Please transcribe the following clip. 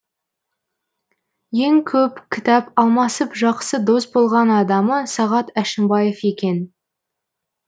ең көп кітап алмасып жақсы дос болған адамы сағат әшімбаев екен